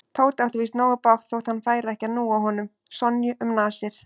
Tóti átti víst nógu bágt þótt hann færi ekki að núa honum Sonju um nasir.